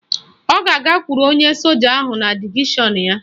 Ọ ga-agakwuru onye soja ahụ na divishọn ya